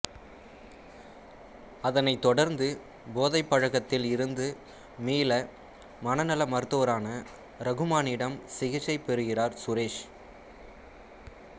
அதனைத் தொடர்ந்து போதை பழக்கத்தில் இருந்து மீள மனநல மருத்துரான ரகுமானிடம் சிகிச்சை பெறுகிறார் சுரேஷ்